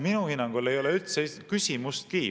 Minu hinnangul ei ole üldse küsimustki …